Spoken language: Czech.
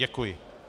Děkuji.